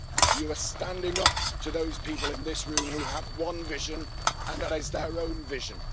You are standing up to those people in this room who have one vision and that is their own vision.